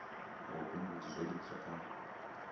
ha vhubindudzi zwo livhiswa kha